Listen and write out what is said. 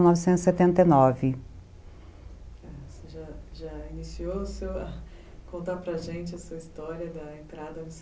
setenta e nove. Você já já iniciou a contar para gente a sua história da entrada